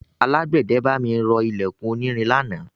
Alágbẹ̀dẹ bá mi rọ ilẹ̀kùn onírin lánàá.